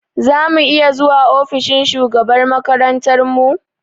Za mu iya zuwa ofishin shugabar makarantar mu?